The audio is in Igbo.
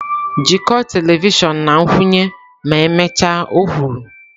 “Jikọọ telivishọn na nkwụnye ma emechaa”,o kwuru.